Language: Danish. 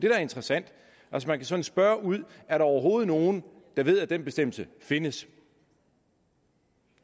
er interessant man kan spørge ud er der overhovedet nogen der ved at den bestemmelse findes